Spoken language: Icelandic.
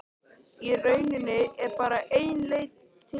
Í rauninni er bara ein leið til þess.